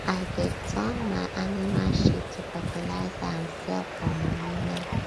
i deg turn my animals shit to fertilizer and sell for money now